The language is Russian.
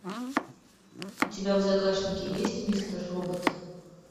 у тебя в загашнике есть мистер робот